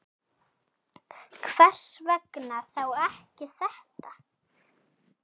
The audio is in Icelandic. Hvers vegna þá ekki þetta?